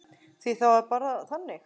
Því það var bara þannig.